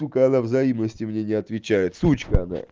когда взаимности мне не отвечает сучка она